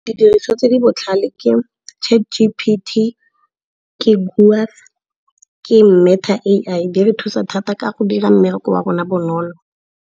Didiriswa tse di botlhale ke Chat G_P_T, ke Grok, ke Meta A_I. Di re thusa thata ka go dira mmereko wa rona bonolo.